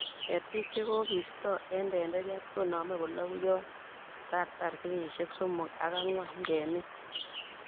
Ketik chegobisto en tenderiat konome kologu yon katar kenyisiek somok ak angwan ngemin